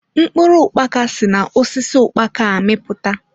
Mkpụrụ ukpaka si na osisi ukpaka amiputa.